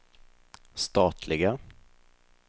statliga